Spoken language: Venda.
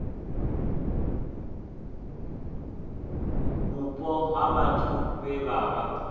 vhupo ha vhathu vhe vha